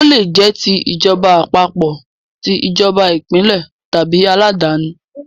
Ó lè jẹ́ ti ìjọba àpapọ̀, ti ìjọba ìpínlẹ̀ tàbí aláàdáni.